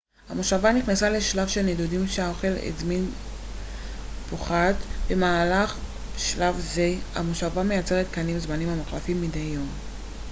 המושבה נכנסת לשלב של נדודים כשהאוכל הזמין פוחת במהלך שלב זה המושבה מייצרת קנים זמניים המוחלפים מדי יום